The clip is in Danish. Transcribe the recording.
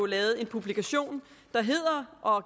lavet en publikation der hedder og